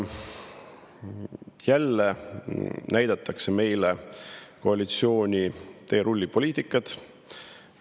Jälle näidatakse meile koalitsiooni teerullipoliitikat.